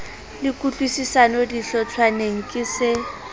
le kutlwisisano dihlotshwaneng ke se